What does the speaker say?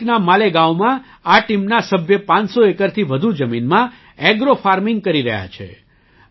નાસિકના માલેગાંવમાં આ ટીમના સભ્ય 500 એકરથી વધુ જમીનમાં ઍગ્રો ફાર્મિંગ કરી રહ્યા છે